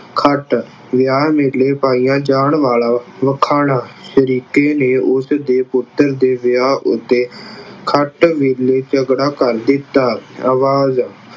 ਖਟ ਵਿਆਹ ਵੇਲੇ ਪਾਇਆ ਜਾਣ ਵਾਲਾ ਮਖਾਣਾ ਨੇ ਉਸਦੇ ਪੁੱਤਰ ਦੇ ਵਿਆਹ ਉੱਤੇ ਖਟ ਵੇਲੇ ਝਗੜਾ ਕਰ ਦਿੱਤਾ। ਆਵਾਜ਼